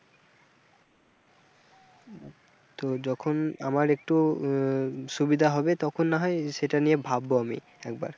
তো যখন আমার একটু আহ সুবিধা হবে তখন না হয় সেটা নিয়ে ভাববো আমি একবার।